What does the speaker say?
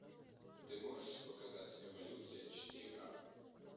ты можешь показать эволюция четыре к